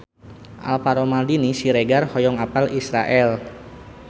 Alvaro Maldini Siregar hoyong apal Israel